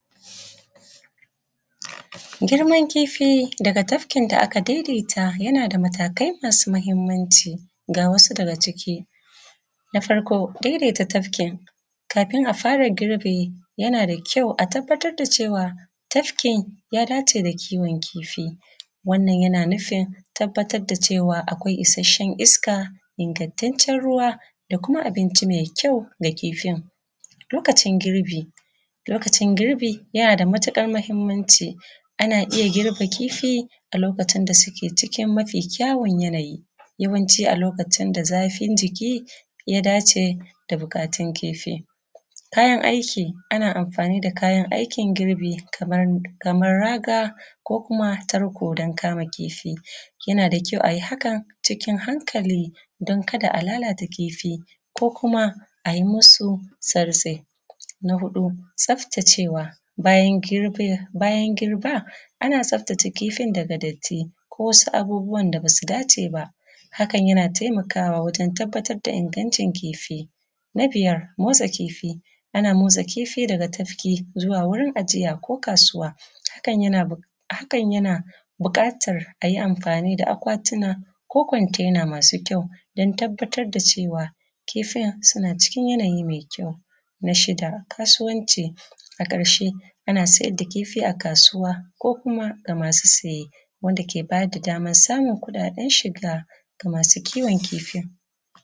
Girman kifi daga tafkin da aka daidaita yana da matakai masu mahimmanci. Ga wasu daga ciki; na farko, daidaita tafkin kafin a fara girbi, yana da kyau a tabbatar cewa tafkin ya dace da kiwo kifi. Wannan yana nufin tabbatar da cewa akwai isasshen iska, ingantaccen ruwa da kuma abinci mai kyau ga kifin. Lokacin girbi; lokacin girbi yana da matuƙar mahimmanci, ana iya girbe kifi a lokacin da suke cikin mafi kyawun yanayi, yawanci a lokacin da zafin jiki ya dace da buƙatun kifi. Kayan aiki; ana amfani da kayan aikin girbi kaman, kamar raga ko kuma tarko don kama kifi. Yana da kyau ayi hakan cikin hankali don kada a lalata kifi ko kuma a yi musu sartse. Na huɗu, tsaftacewa; bayan girba ana tsaftace kifin daga datti ko wasu abubuwan da basu dace ba, hakan yana taimakawa wajen tabbatar da ingancin kifi. Na biyar, motsa kifi; ana motsa kifi daga tafki zuwa wurin ajiya ko kasuwa, hakan yana bu, hakan yana buƙatar a yi amfani da akwatuna ko kwantaina masu kyau don tabbatar da cewa kifin suna cikin yanayi mai kyau. Na shida kasuwanci; a ƙarshe ana siyar da kifi a kasuwa ko kuma ga masu saye wanda ke ba da daman samun kuɗaɗen shiga ga masu kiwon kifin.